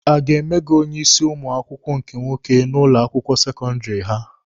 A ga-eme gị onye isi ụmụ akwụkwọ nke nwoke n'ụlọ akwụkwọ sekọndịrị ha?